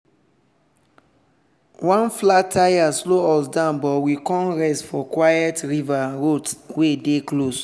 one flat tire slow us down but we con rest for quiet river road wey dey close.